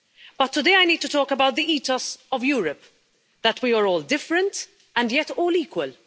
But today I need to talk about the ethos of Europe, that we are all different and yet all equal.